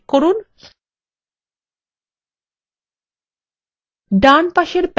ডান পাশের প্যানেলএ তিনটি বিকল্প দেখা যাচ্ছে